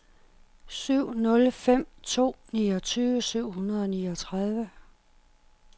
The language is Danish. syv nul fem to niogtyve syv hundrede og niogtredive